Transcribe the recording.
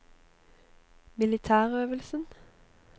militærøvelsen